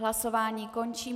Hlasování končím.